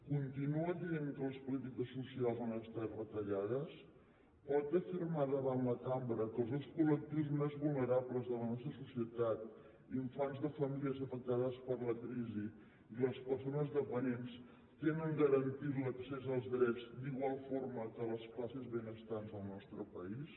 continua dient que les polítiques socials no han estat retallades pot afirmar davant la cambra que els dos colfants de famílies afectades per la crisi i persones dependents tenen garantit l’accés als drets d’igual forma que les classes benestants al nostre país